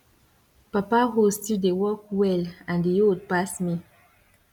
papa hoe still dey work well and e old pass me